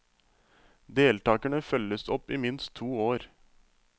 Deltagerne følges opp i minst to år.